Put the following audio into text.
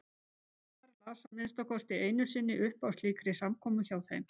Einar las að minnsta kosti einu sinni upp á slíkri samkomu hjá þeim.